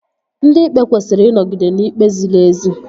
Ndị Ikpe kwesịrị ịnọgide n'ikpe ziri ezi